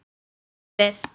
Þú átt við.